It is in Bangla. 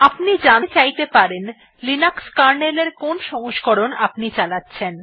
আপনি জানতে চাইতে পারেন লিনাক্স কার্নেল এর কোন সংস্করণ আপনি চালাচ্ছেন